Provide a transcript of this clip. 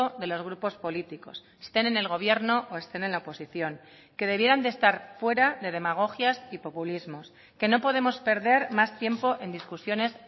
de los grupos políticos estén en el gobierno o estén en la oposición que debieran de estar fuera de demagogias y populismos que no podemos perder más tiempo en discusiones